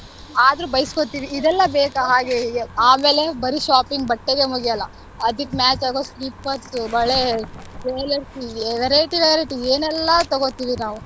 ಆದ್ರೂ ಬೈಸ್ಕೊತೀವಿ ಇದೆಲ್ಲ ಬೇಕಾ ಹಾಗೆ ಹೀಗೆ ಆಮೇಲೆ ಬರಿ shopping ಬಟ್ಟೆಗೆ ಮುಗಿಯೋಲ್ಲ ಅದಕ್ಕ್ match ಆಗೋ slippers , ಬಳೆ, jewelers variety, variety ಏನೇಲ್ಲಾ ತಗೋತೀವಿ ನಾವು.